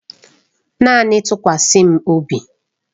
Naanị tụkwasa m obi.